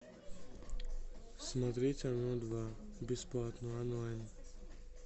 смотреть оно два бесплатно онлайн